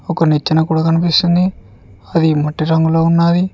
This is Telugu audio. ఒక నిచ్చెన కూడా కనిపిస్తుంది అది మట్టి రంగులో ఉన్నాది.